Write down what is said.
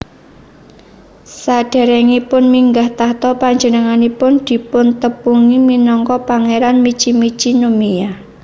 Sadèrèngipun minggah tahta panjenenganipun dipuntepungi minangka Pangéran Michi Michi no Miya